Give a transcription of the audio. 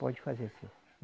Pode fazer assim.